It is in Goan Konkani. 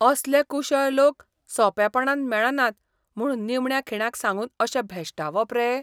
असले कुशळ लोक सोंपेपणान मेळनात म्हूण निमण्या खिणाक सांगून अशें भेश्टावप रे?